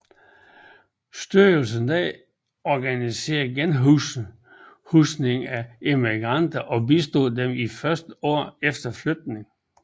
Styrelsen organiserede genhusning af emigranterne og bistod dem i de første år efter flytningen